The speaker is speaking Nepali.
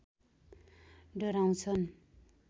डराउँछन्